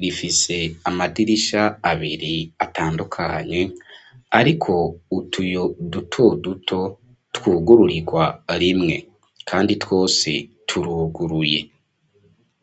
rifise amadirisha abiri atandukanye ariko utuyo dutoduto twugururirwa rimwe, kandi twose turuguruye.